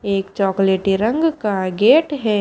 एक चॉकलेटी रंग का गेट है।